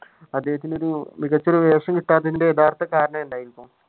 അദ്ദേഹത്തിന് ഒരു മികച്ച ഒരു വേഷം കിട്ടാത്തതിന്റെ യഥാർത്ഥ കാരണം എന്തായിരിക്കും?